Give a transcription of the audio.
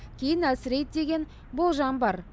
кейін әлсірейді деген болжам бар